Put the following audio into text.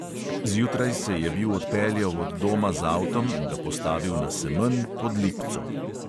Zjutraj se je bil odpeljal od doma z avtom in ga postavil na semenj "pod lipco".